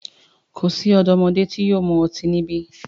Ko si ọdọmodẹ yóò mu ọti nibi!